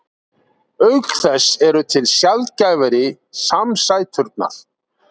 auk þess eru til sjaldgæfari samsæturnar